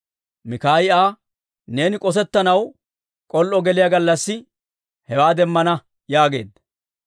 Mikaayi Aa, «Neeni k'osettanaw k'ol"o geliyaa gallassi hewaa demmana» yaageedda.